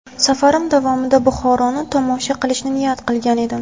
Safarim davomida Buxoroni tomosha qilishni niyat qilgan edim.